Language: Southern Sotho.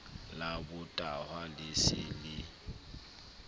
la botahwa le se le